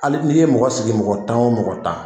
Ai n'i ye mɔgɔ sigi mɔgɔ tan o mɔgɔ tan